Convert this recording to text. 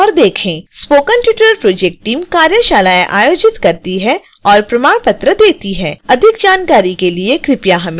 spoken tutorial project team कार्यशालाएं आयोजित करती है और प्रमाण पत्र देती है